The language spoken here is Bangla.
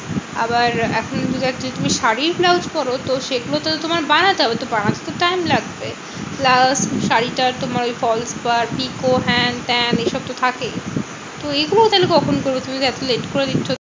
আবার এখনকার যদি তুমি শাড়ীর ব্লাউজ করো? তো সেগুলো তো তোমায় বানাতে হবে? তো বানাতে তো time লাগবে। plus শাড়ী টা তোমার ওই false পার pico হ্যান ত্যান এসব তো থাকেই। তো এগুলো তাহলে কখন করবে? তুমি যে এত late করে দিচ্ছো?